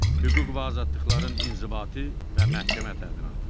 Hüquq və azadlıqların inzibati və məhkəmə təminatı.